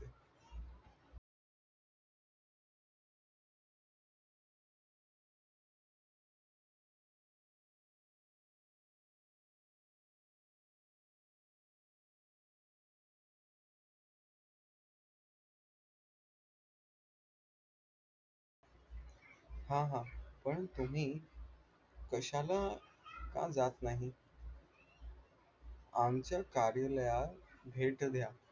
हा हा पण तुम्ही कशाला जात नाहीत आमच्या कार्यालयात भेट द्या